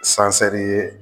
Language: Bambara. ye